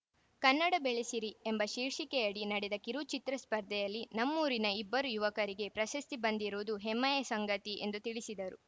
ಕನ್ನಡ ಬೆಳೆಸಿರಿ ಎಂಬ ಶೀರ್ಷಿಕೆಯಡಿ ನಡೆದ ಕಿರುಚಿತ್ರ ಸ್ಪರ್ಧೆಯಲ್ಲಿ ನಮ್ಮೂರಿನ ಇಬ್ಬರು ಯುವಕರಿಗೆ ಪ್ರಶಸ್ತಿ ಬಂದಿರುವುದು ಹೆಮ್ಮೆಯ ಸಂಗತಿ ಎಂದು ತಿಳಿಸಿದರು